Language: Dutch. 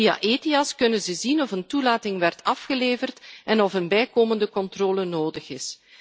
Via Ethias kunnen ze zien of een toelating werd afgeleverd en of een bijkomende controle nodig is.